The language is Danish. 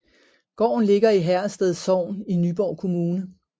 Gården ligger i Herrested Sogn i Nyborg Kommune